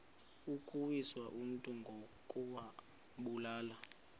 ukuwisa umntu ngokumbulala